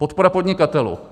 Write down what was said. Podpora podnikatelů.